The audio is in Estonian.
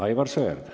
Aivar Sõerd.